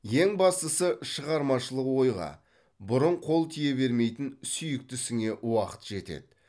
ең бастысы шығармашылық ойға бұрын қол тие бермейтін сүйікті ісіңе уақыт жетеді